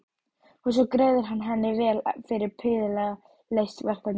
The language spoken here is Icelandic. Og svo greiðir hann henni vel fyrir prýðilega leyst verkefni.